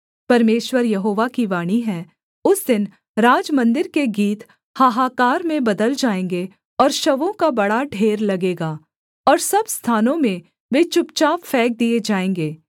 परमेश्वर यहोवा की वाणी है उस दिन राजमन्दिर के गीत हाहाकार में बदल जाएँगे और शवों का बड़ा ढेर लगेगा और सब स्थानों में वे चुपचाप फेंक दिए जाएँगे